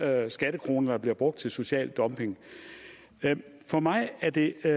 er skattekroner der bliver brugt til social dumping for mig er det